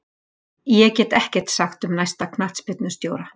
Ég get ekkert sagt um næsta knattspyrnustjóra.